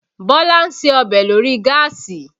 Bọ́lá ń ṣe ọbẹ̀ lórí gáàsì